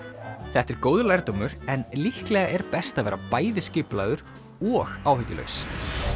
þetta er góður lærdómur en líklega er best að vera bæði skipulagður og áhyggjulaus